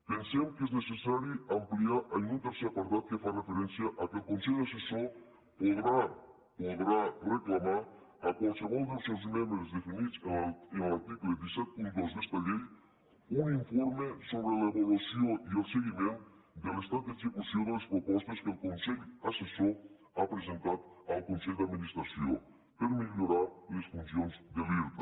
pensem que és necessari ampliar lo en un tercer apartat que fa referència al fet que el consell assessor podrà podrà reclamar a qualsevol dels seus membres definits en l’article cent i setanta dos d’esta llei un informe sobre l’avaluació i el seguiment de l’estat d’execució de les propostes que el consell assessor ha presentat al consell d’administració per millorar les funcions de l’irta